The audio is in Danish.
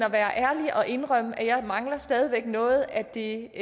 at være ærlig og indrømme at jeg mangler stadig væk noget af det